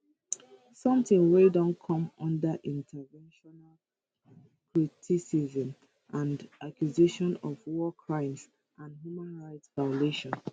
sometin wey don come under international criticism and accusations of war crimes and human rights violation